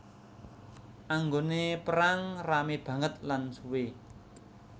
Anggone perang rame banget lan suwe